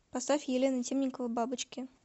поставь елена темникова бабочки